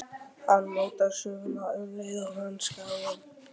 Hann mótar söguna um leið og hann skráir.